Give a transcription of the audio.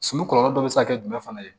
Sulu kɔlɔlɔ dɔ bɛ se ka kɛ jumɛn fana ye